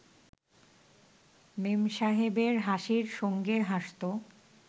মেমসাহেবের হাসির সঙ্গে হাসত